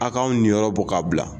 A' k'anw niyɔrɔ bɔ k'a bila